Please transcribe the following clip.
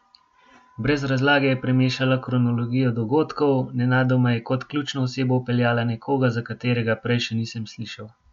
Brez razlage je premešala kronologijo dogodkov, nenadoma je kot ključno osebo vpeljala nekoga, za katerega prej še nisem slišal.